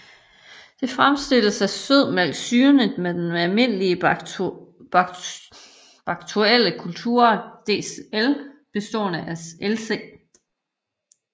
Det fremstilles af sødmælk syrnet med den almindelige bakteriekulture DL bestående af Lc